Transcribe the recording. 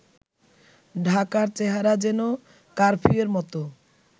ঢাকার চেহারা যেন কারফিউর মতো